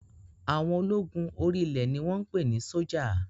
Àwọn ológun orí ilẹ̀ ni wọ́n ń pè ní sọ́jà